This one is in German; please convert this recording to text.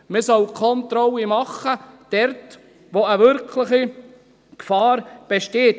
Man soll Kontrollen dort machen, wo eine wirkliche Gefahr besteht.